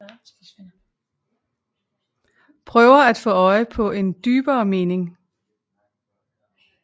Prøver at få øje på en dybere mening